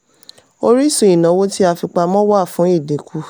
orísun ìnáwó ti a fipamọ wà fún ìdínkù.